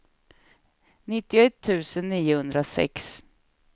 nittioett tusen niohundrasex